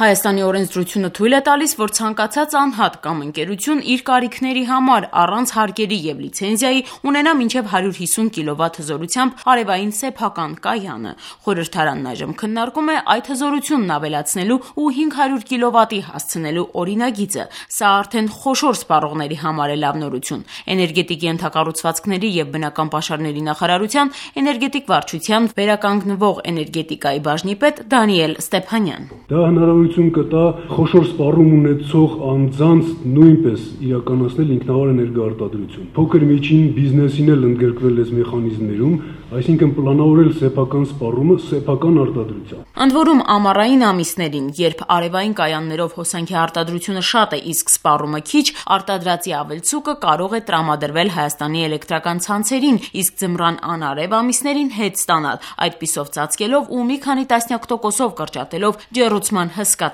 Հայաստանի օրենսդրությունը թույլ է տալիս, որ ցանկացած անհատ կամ ընկերություն իր կարիքների համար առանց հարկերի եւ լիցենզիայի ունենա մինչեւ 150 կՎտ հզորությամբ արեւային սեփական կայանը: Խորհրդարանն այժմ քննարկում է այդ հզորությունն ավելացնելու ու 500 կՎտ-ի հասցնելու օրինագիծը: Սա արդեն խոշոր սպառողների համար է լավ նորություն: Էներգետիկ ենթակառուցվածքների և բնական պաշարների նախարարության էներգետիկայի վարչության վերականգնվող և էներգետիկայի բաժնի պետ Դանիել Ստեփանյան: Ընդ որում՝ ամառային ամիսներին, երբ արեւային կայաններով հոսանքի արտադրությունը շատ է, իսկ սպառումը՝ քիչ, արտադրածի ավելցուկը կարող է տրամադրել ՀԷՑ-ին, իսկ ձմռան անարեւ ամիսներին հետ ստանալ՝ այդպիսով ծածկելով ու մի քանի տասնյակ տոկոսով կրճատելով ջեռուցման հսկա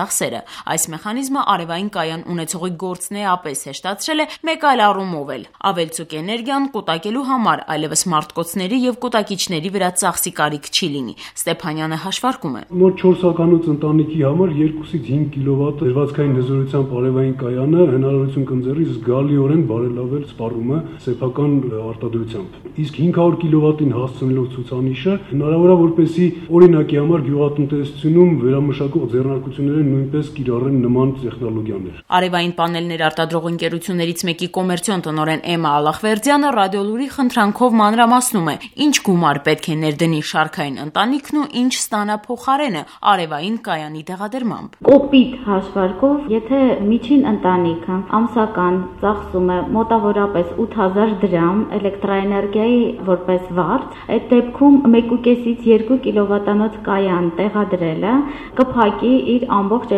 ծախսերը: Այս մեխանիզմը արեւային կայան ունեցողի գործն էապես հեշտացվել է մեկ այլ առումով էլ: Ավելցուկ էներգիան կուտակելու համար այլեւս մարտկոցների եւ կուտակիչների վրա ծախսի կարիք չի լինի: Ստեփանյանը հաշվարկում է՝ « Մոտ 4 հոգանոց ընտանիքի համար 2-5 կՎտ դրվածքային հզորությամբ արեւային կայանը թույլ կտա զգալիորեն ծածկել հոսանքի սպառումը սեփական հոսանքի արտադրությամբ, իսկ 500 կՎտ հզորությունը թույլ կտա, որպեսզի, օրինակ, գյուղատնտեսական վերամշակող ձեռնարկությունները կիրառեն նման տեխնոլոգիա»: Արեւային պանելներ արտադրող ընկերություններից մեկի կոմերցիոն տնօրեն Էմմա Ալլախվերդյանը «Ռադիոլուր»-ի խնդրանքով մանրամասնում է՝ ինչ գումար պետք է ներդնի շարքային ընտանիքն ու ինչ ստանա փոխարենը՝ արեւային կայանի տեղադրմամբ: «Կոպիտ հաշվարկով՝ եթե միջին ընտանիքն ամսական ծախսում է մոտ 8 հազար դրամ որպես էլեկտրաէներգիայի վարձ, ապա 1.5-2 կՎտ հզորությամբ կայան տեղադրելը կփակի իր ողջ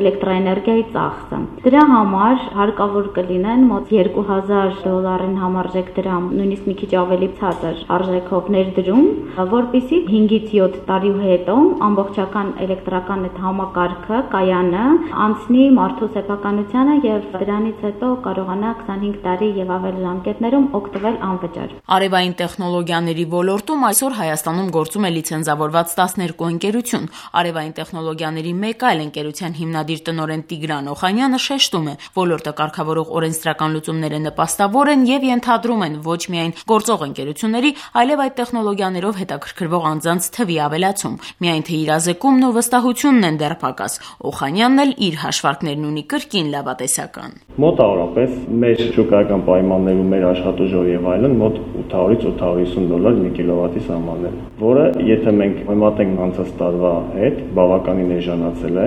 էլեկտրաէներգիայի ծախսը: Դրա համար հարկավոր կլինի մոտ 2 հազար դոլարի ներդրում, դեռ մի քիչ էլ պակաս, որպեսզի 5-7 տարուց արեւային կայանն ամբողջությամբ անցնի իր սեփականությանը, իսկ դրանից հետո՝ 20-25 տարի եւ ավելի դրա արտադրած հոսանքը սպառի անվճար»: Արեւային տեխնոլոգիաների ոլորտում այսօր Հայաստանում գործում է լիցենզավորված 12 ընկերություն: Արևային տեխնոլոգիաների մեկ այլ ընկերության հիմնադիր տնօրեն Տիգրան Օխանյանը շեշտում է՝ ոլորտը կարգավորող օրենսդրական լուծումները նպաստավոր են ու ենթադրում են ոչ միայն գործող ընկերությունների, այլեւ այդ տեխնոլոգիաներով հետաքրքրվող անձանց թվի ավելացում: Միայն թե իրազեկումն ու վստահությունն են դեռ պակաս: Օխանյանն էլ իր հաշվարկներն ունի՝ կրկին լավատեսական: «Մեր շուկայական պայմաններում մեր աշխատուժով 1 կՎտ հզորության տեղադրումն արժենում է 800-850 դոլար, որն անցյալ տարվա համեմատ բավականին էժանացել է: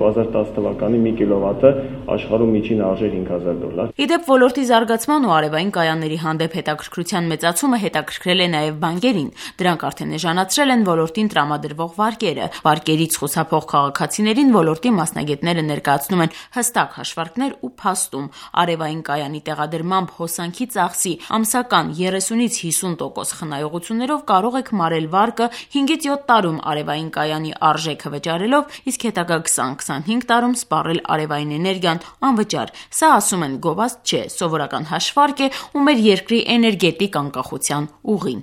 2010-ին 1կՎտ-ն աշխարհում արժեր 5000 դոլար»: Ի դեպ՝ ոլորտի զարգացման ու արեւային կայանների հանդեպ հետաքրքրության մեծացումը հետաքրքրել է նաեւ բանկերին: Դրանք արդեն էժանացրել են ոլորտին տրամադրվող վարկերը: Վարկերից խուսափող քաղաքացիներին ոլորտի մասնագետները ներկայացնում են հստակ հաշվարկներ ու փաստում՝ արեւային կայանի տեղադրմամբ հոսանքի ծախսի ամսական 30-50 տոկոս խնայողություններով կարող եք մարել վարկը՝ 5-7 տարում արեւային կայանի արժեքը վճարելով, իսկ հետագա 20-25 տարում սպառել արեւային էներգիան անվճար: Սա, ասում են, գովազդ չէ, սովորական հաշվարկ է ու մեր երկրի էներգետիկ անկախության ուղին: